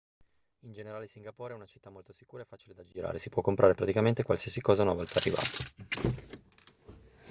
in generale singapore è una città molto sicura e facile da girare si può comprare praticamente qualsiasi cosa una volta arrivati